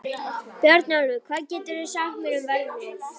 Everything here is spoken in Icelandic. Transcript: Bjarnólfur, hvað geturðu sagt mér um veðrið?